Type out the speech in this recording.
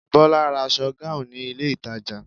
Bola bought a gown in the mall